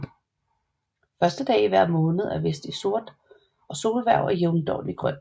Første dag i hver måned er vist i sort og solhverv og jævndøgn i grønt